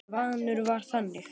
Svanur var þannig.